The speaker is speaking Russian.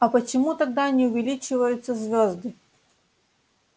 а почему тогда не увеличиваются звезды